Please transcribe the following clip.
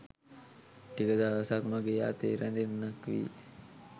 ටික දවසක් මගේ අතේ රැඳෙන්නක් වේ.